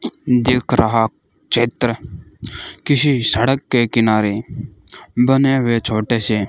दिख रहा चित्र किसी सड़क के किनारे बने हुए छोटे से --